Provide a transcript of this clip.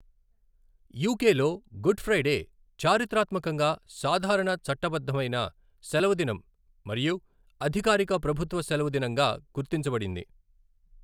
యూకేలో, Good Friday చారిత్రాత్మకంగా సాధారణ చట్టబద్ధమైన సెలవుదినం మరియు అధికారిక ప్రభుత్వ సెలవు దినంగా గుర్తించబడింది.